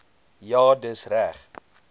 ja dis reg